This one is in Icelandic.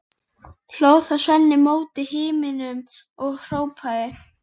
Hló þá Sveinn mót himninum og hrópaði